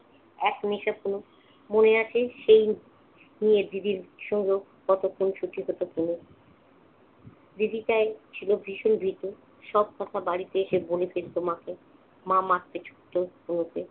এক নিশা ছিল, মনে আছে সেই নিয়ে দিদির সঙ্গে কত খুনসুটি হতো তনুর । দিদি তাই ছিল ভীষণ ভীতু। সব কথা বাড়িতে এসে বলে দিত মাকে, মা মারতে ছুটতো বুবুকে।